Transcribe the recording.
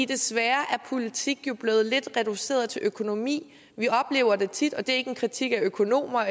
desværre er politik jo blevet lidt reduceret til at økonomi vi oplever tit og det er ikke en kritik af økonomer og